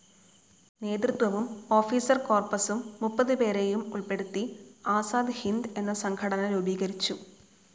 നേതൃത്വവും ഓഫീസർ കോർപസും മുപ്പതുപേരെയും ഉൾപ്പെടുത്തി ആസാദ് ഹിന്ദ്‌ എന്ന സംഘടന രൂപീകരിച്ചു.